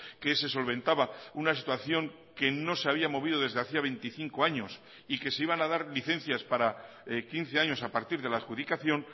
que se solventaba una situación que no se había movido desde hacía veinticinco años y que se iban a dar licencias para quince años a partir de la adjudicación